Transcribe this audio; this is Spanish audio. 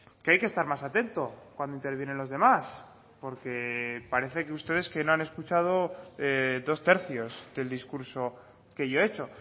que hay que estar más atento cuando intervienen los demás porque parece que ustedes que no han escuchado dos tercios del discurso que yo he hecho